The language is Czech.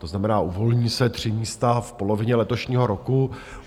To znamená, uvolní se 3 místa v polovině letošního roku.